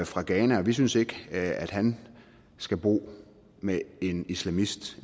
fra ghana og vi synes ikke at han skal bo med en islamist